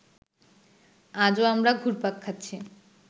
আজও আমরা ঘুরপাক খাচ্ছি